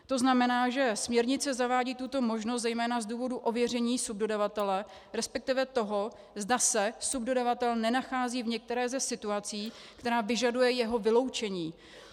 To znamená, že směrnice zavádí tuto možnost zejména z důvodu ověření subdodavatele, respektive toho, zda se subdodavatel nenachází v některé ze situací, která vyžaduje jeho vyloučení.